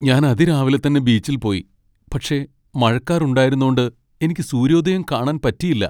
ഞാൻ അതിരാവിലെത്തന്നെ ബീച്ചിൽ പോയി, പക്ഷേ മഴക്കാർ ഉണ്ടായിരുന്നോണ്ട് എനിക്ക് സൂര്യോദയം കാണാൻ പറ്റിയില്ല .